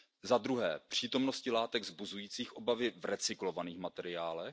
Za druhé, přítomností látek vzbuzujících obavy v recyklovaných materiálech.